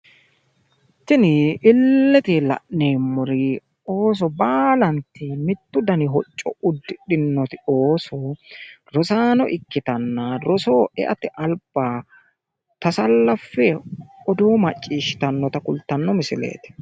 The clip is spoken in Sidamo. Tini illete la'neemmori ooso baalanti mittu dani hocco uddihidhinoti ooso rosaano ikkitanna rosoho e'ate alba tasallaffe odoo macciishshitannota kultanno misileeti